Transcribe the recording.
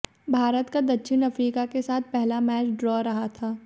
भारत का दक्षिण अफ्रीका के साथ पहला मैच ड्रा रहा था